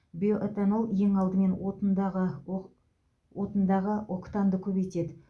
биоэтанол ең алдымен отындағы ок отындағы октанды көбейтеді